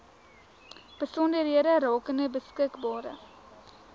besonderhede rakende beskikbare